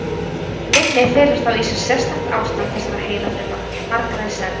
Minni felur þá í sér sérstakt ástand þessara heilafruma, margra í senn.